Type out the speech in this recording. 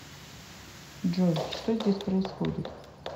джой что здесь происходит